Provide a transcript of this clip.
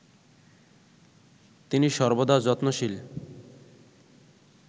তিনি সর্বদা যত্নশীল